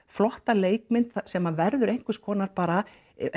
flotta leikmynd sem að verður einhvers konar bara